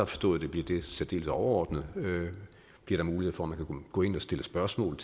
forstået det bliver den særdeles overordnet bliver der mulighed for at man kan gå ind og stille spørgsmål